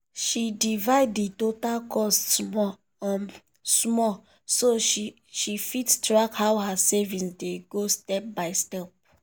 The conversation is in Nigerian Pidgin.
she divide the total cost small um small so she fit track how her saving dey go step by step.